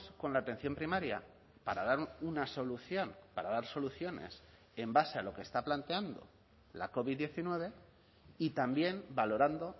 con la atención primaria para dar una solución para dar soluciones en base a lo que está planteando la covid diecinueve y también valorando